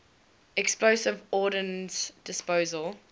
explosive ordnance disposal